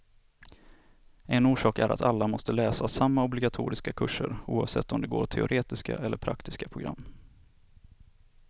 En orsak är att alla måste läsa samma obligatoriska kurser, oavsett om de går teoretiska eller praktiska program.